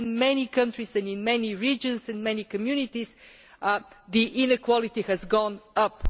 board that in many countries and many regions and many communities, inequality has gone